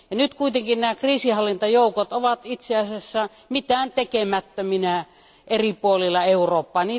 Nyt kuitenkin kriisinhallintajoukot ovat itse asiassa mitään tekemättöminä eri puolilla Eurooppaa.